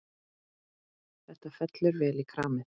Þetta fellur vel í kramið.